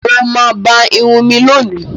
Mọ̀ mà bá ìrùn mí lónì